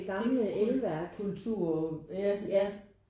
Det er kultur kultur ja